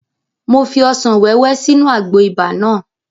Mo fi ọsàn wẹ́wẹ́ sínú àgbo ibà náà